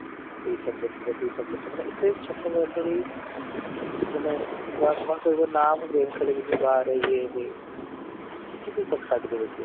ଏଇ subject ର ସେଇ subject ର ମାନେ ଏତେ ଛୋଟ ବୟସ ରୁ ହିଁ ମାନେ କହିବେ ନା ମୁଁ game ଖେଳିବିନି ବାହାରେ ୟେ ହୁଏ କିଛି ବି କଥା କାଟି ଦେବେ ସିଏ